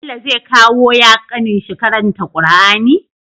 Bello zai kawo ya kanin shi karanta qur'ani